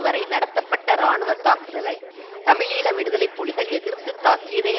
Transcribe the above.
வரை நடத்தப்பட்ட இராணுவ தாக்குதலை தமிழீழ விடுதலை புலிகள் எதிர்த்துத் தாக்கியதை